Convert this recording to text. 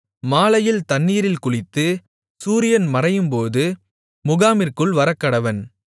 மாலையில் தண்ணீரில் குளித்து சூரியன் மறையும்போது முகாமிற்குள் வரக்கடவன்